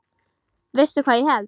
Veistu hvað ég held?